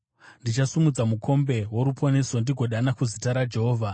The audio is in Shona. Ndichasimudza mukombe woruponeso ndigodana kuzita raJehovha.